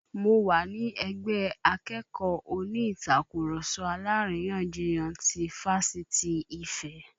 Mo wà ní ẹgbẹ́ akẹ́kọ̀ọ́ oní Ìtàkurọ̀sọ alárìyanjiyàn ti Fáṣítì Ife